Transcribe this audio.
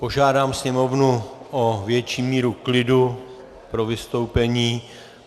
Požádám sněmovnu o větší míru klidu pro vystoupení.